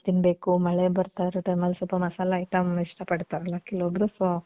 ತಿನ್ಬೇಕು. ಮಳೆ ಬರ್ತಾ ಇರೋ time ಅಲ್ಲಿ ಸ್ವಲ್ಪ ಮಸಾಲೆ item ಇಷ್ಟ ಪಡ್ತಾರೆ ಅಲ್ವ ಕೆಲವೊಬ್ರು, so